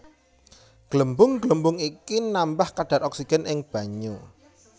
Glembung glembung iki nambah kadhar oksigen ing banyu